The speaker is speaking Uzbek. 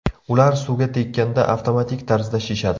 Ular suvga tekkanda avtomatik tarzda shishadi.